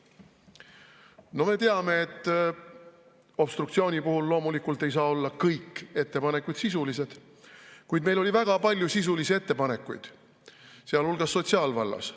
No me teame, et obstruktsiooni puhul loomulikult ei saa olla kõik ettepanekud sisulised, kuid meil oli väga palju sisulisi ettepanekuid, sealhulgas sotsiaalvallas.